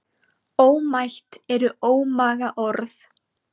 Ómætt eru ómaga orð.